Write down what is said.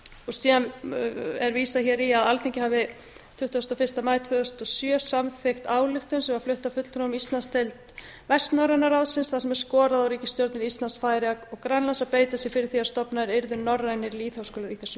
síðan er vísað hér í að alþingi hafi tuttugasta og fyrsta maí tvö þúsund og sjö samþykkt ályktun sem var flutt af fulltrúum í íslandsdeild vestnorræna ráðsins þar sem er skorað á ríkisstjórnir íslands færeyja og grænlands að beita sér fyrir því að stofnaðir yrðu norrænir lýðháskólar í þessum